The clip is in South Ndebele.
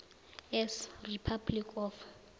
s republic of